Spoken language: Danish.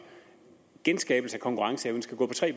genskabelse af konkurrenceevnen skal gå på tre